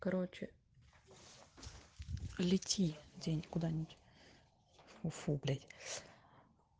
короче лети день куда-нибудьв уфу блять